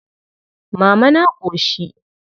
Mama na ƙoshi.